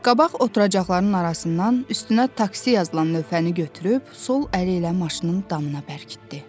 Qabaq oturacaqların arasından üstünə taksi yazılan lövhəni götürüb sol əli ilə maşının damına bərkitdi.